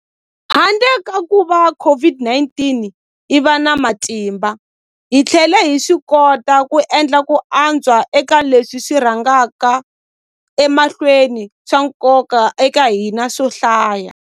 Handle ka kuva COVID-19 yi va na matimba, hi tlhele hi swikota ku endla ku antswa eka leswi swi rhangaka emahlweni swa nkoka eka hina swo hlaya.